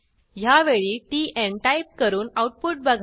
ह्यावेळी tan type करून output बघा